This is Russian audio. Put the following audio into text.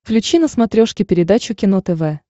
включи на смотрешке передачу кино тв